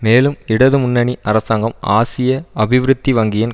மேலும் இடது முன்னணி அரசாங்கம் ஆசிய அபிவிருத்தி வங்கியின்